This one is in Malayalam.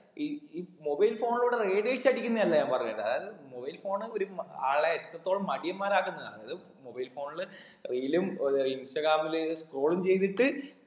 ഈ ഇ mobile phone ലൂടെ radiation അടിക്കുന്നതല്ല ഞാൻ പറഞ്ഞത് അതായത് mobile phone ഒര് ഉം ആളെ എത്രത്തോളം മടിയന്മാര് ആക്കുന്നുന്നാണ് അതായത് mobile phone ൽ reel ഉം ഒര് ഇൻസ്റ്റാഗ്രാമില് scroll ളും ചെയ്തിട്ട്